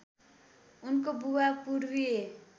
उनको बुबा पूर्वीय